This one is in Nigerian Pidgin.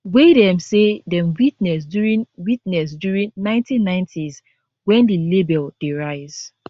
wey dem say dem witness during witness during 1990s wen di label dey rise